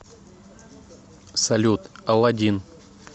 салют алладин